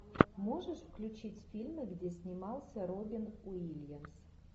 можешь включить фильмы где снимался робин уильямс